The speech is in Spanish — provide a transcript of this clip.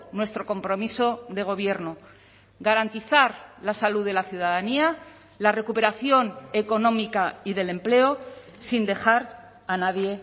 nuestro compromiso de gobierno garantizar la salud de la ciudadanía la recuperación económica y del empleo sin dejar a nadie